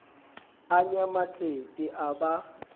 a nya matsete a ba